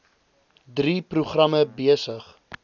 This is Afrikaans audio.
drie programme besig